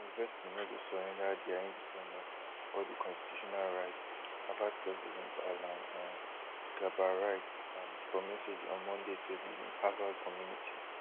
di university no go surrender dia independence or di constitutional rights harvard president alan um garber write um for message on monday to di harvard community